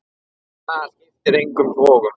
En það skipti engum togum.